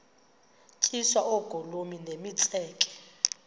tyiswa oogolomi nemitseke